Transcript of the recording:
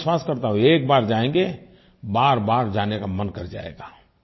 और मैं विश्वास करता हूँ एक बार जायेंगे बारबार जाने का मन कर जाएगा